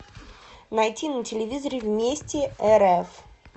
найти на телевизоре вместе рф